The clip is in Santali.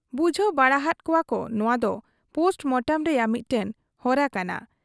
ᱵᱩᱡᱷᱟᱹᱣ ᱵᱟᱲᱟ ᱦᱟᱫ ᱠᱚᱣᱟᱠᱚ ᱱᱚᱶᱟ ᱫᱚ ᱯᱳᱥᱴ ᱢᱚᱴᱚᱢ ᱨᱮᱭᱟᱜ ᱢᱤᱫᱴᱟᱝ ᱦᱚᱨᱟ ᱠᱟᱱᱟ ᱾